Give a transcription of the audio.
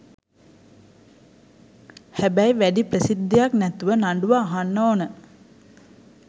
හැබැයි වැඩි ප්‍රසිද්ධියක් නැතුව නඩුව අහන්න ඕන.